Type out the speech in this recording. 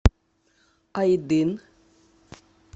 айдын